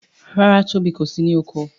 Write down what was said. ràrá Tóbi kò sì ní oko.